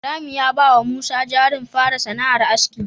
Ibrahim ya bawa usman jarin fara sana'ar aski